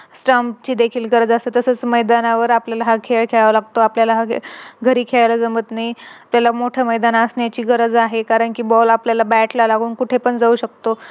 Stumps हे देखील गरज असते तसेच मैदानावर आपल्याला हा खेळ खेळावा लागतो, आपल्याला घरी खेळायला जमत नाही. त्याला मोठं मैदान असण्याची गरज आहे कारण कि Ball आपल्याला Bat ला लागून कुठे पण जाऊ शकतो